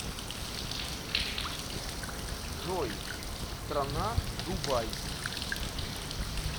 джой страна дубай